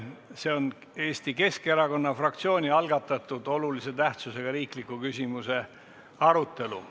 See on Eesti Keskerkaonna fraktsiooni algatatud olulise tähtsusega riikliku küsimuse arutelu.